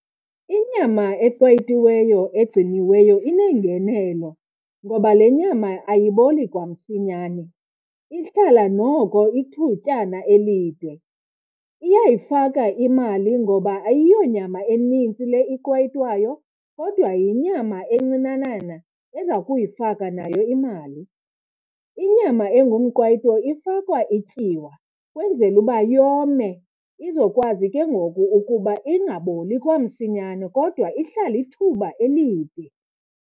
Inyama eqwayitiweyo ezigciniweyo ineengenelo ngoba le nyama ayiboli kwamsinyane, ihlala noko ithutyana elide. Iyayifaka imali ngoba ayiyo nyama enintsi le iqwayitwayo kodwa yinyama encinanana eza kuyifaka nayo imali. Inyama engumqwayito ifakwa ityiwa ukwenzela uba yome izokwazi ke ngoku ukuba ingaboli kwamsinyane kodwa ihlale ithuba elide.